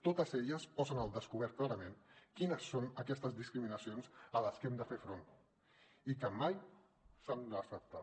totes elles posen al descobert clarament quines són aquestes discriminacions a les que hem de fer front i que mai s’han d’acceptar